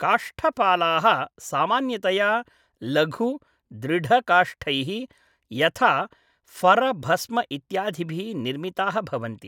काष्ठपालाः सामान्यतया लघु, दृढकाष्ठैः, यथा फर भस्म इत्यादिभिः निर्मिताः भवन्ति ।